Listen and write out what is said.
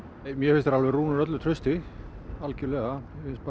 mér finnst þeir alveg rúnir öllu trausti algjörlega